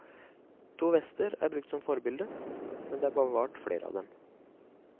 To vester er brukt som forbilde, men det er bevart flere av dem.